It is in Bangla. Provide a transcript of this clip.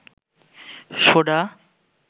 সোডা